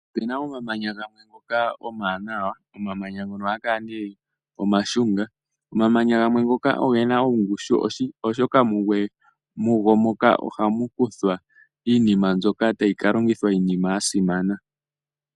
Opena omamanya gamwe ngoka omawanawa, omamanya ngoka ohaga kala nee omashunga. Omamanya gamwe ohaga kala gena ongushu, oshoka mugu moka ohamu kuthwa iinima mbyoka tayi ka longithwa iinima yasimana.